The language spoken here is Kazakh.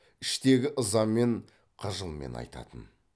іштегі ызамен қыжылмен айтатын